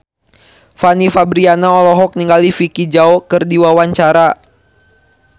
Fanny Fabriana olohok ningali Vicki Zao keur diwawancara